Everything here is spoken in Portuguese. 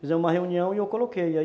Fizemos uma reunião e eu coloquei, aí